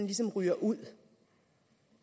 ligesom ryger ud